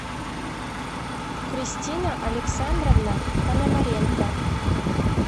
кристина александровна пономаренко